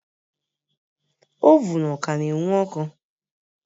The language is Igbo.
Ovun Ọ ka na ewun ọkụ?